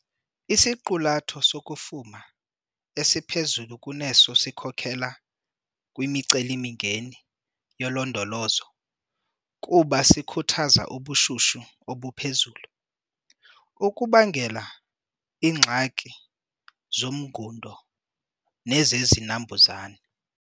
Isiqulatho sokufuma esiphezulu kuneso sikhokelela kwimiceli-mingeni yolondolozo kuba sikhuthaza ubushushu obuphezulu, okubangela iingxaki zomngundo nezezinambuzane.